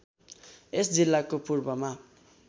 यस जिल्लाको पूर्वमा